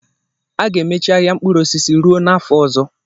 A ga-emechi ahịa mkpụrụ osisi ruo n'afọ ọzọ.